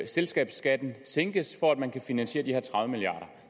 selskabsskatten sænkes for at man kan finansiere de her tredive milliard